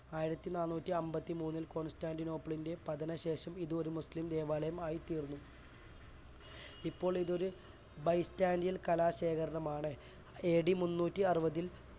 ആയിരത്തിനാനൂറ്റിഅന്പത്തിമൂന്നിൽ കോൺസ്റ്റാന്റിനോപ്പിളൻറ്റെ പതനശേഷം ഇത് ഒരു മുസ്ലിം ദേവാലയം ആയി തീർന്നു. ഇപ്പോൾ ഇതു ഒരു ബൈസ്ൻറ്റേയിൻ കലാശേഖരണമാണ്. A D മുന്നൂറ്റിയറുപതിൽ